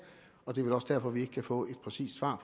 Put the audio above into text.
og det er vel også derfor vi ikke kan få et præcist svar